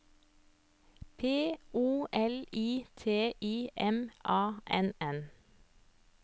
P O L I T I M A N N